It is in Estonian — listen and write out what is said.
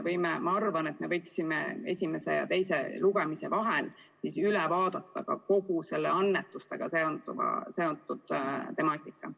Ma arvan, et me võiksime esimese ja teise lugemise vahel üle vaadata ka kogu annetustega seonduva temaatika.